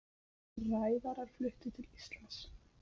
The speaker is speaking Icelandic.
Ræðarar fluttir til Íslands